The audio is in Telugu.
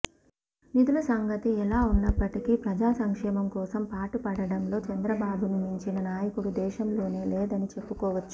నిధుల సంగతి ఎలా ఉన్నప్పటికీ ప్రజా సంక్షేమం కోసం పాటు పడటంలో చంద్రబాబును మించిన నాయకుడు దేశంలోనే లేదని చెప్పుకోవచ్చు